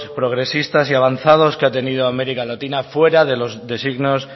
progresistas y avanzados que ha tenido américa latina fuera de los designios